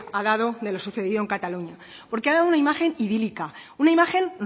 ha dado de lo sucedido en cataluña porque ha dado una imagen idílica una imagen